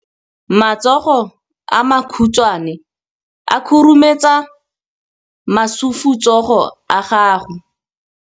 Matsogo a makhutshwane a khurumetsa masufutsogo a gago.